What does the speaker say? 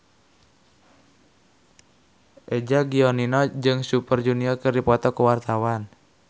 Eza Gionino jeung Super Junior keur dipoto ku wartawan